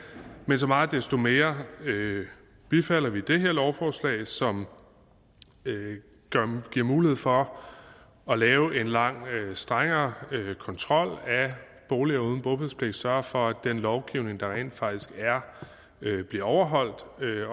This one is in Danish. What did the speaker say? men så meget desto mere bifalder vi det her lovforslag som giver mulighed for at lave en langt strengere kontrol af boliger uden bopælspligt og sørge for at den lovgivning der rent faktisk er bliver overholdt